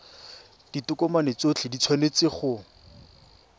ditokomane tsotlhe di tshwanetse go